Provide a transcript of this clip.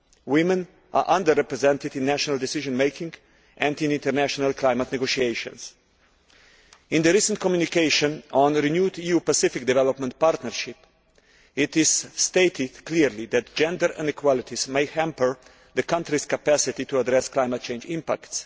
Women are under represented in national decision making and in international climate negotiations. In the recent communication on a renewed EU Pacific development partnership it is stated clearly that gender inequalities may hamper countries' capacity to address climate change impacts.